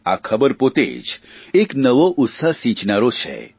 આ ખબર પોતે જ એક નવો ઉત્સાહ સિંચનારા છે